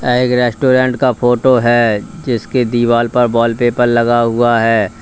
एक रेस्टोरेंट का फोटो है जिसके दीवाल पर वॉलपेपर लगा हुआ है।